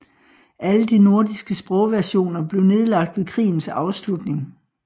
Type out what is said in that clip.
Alle de nordiske sprogversioner blev nedlagt ved krigens afslutning